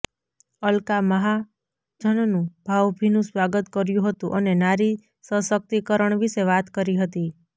અલકા મહાજનનું ભાવભીનું સ્વાગત કર્યું હતું અને નારી સશક્તિકરણ વિષે વાત કરી હતી